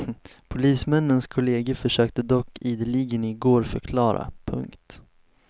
Polismännens kolleger försökte dock ideligen i går förklara. punkt